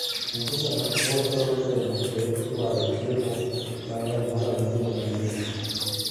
Nyithindo ma chwo thoro bende dwaro chiemo mang'eny moloyo nyithindo ma nyiri.